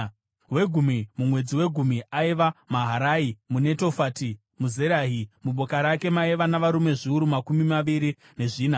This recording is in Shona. Wegumi, mumwedzi wegumi, aiva Maharai muNetofati, muZerahi. Muboka rake maiva navarume zviuru makumi maviri nezvina.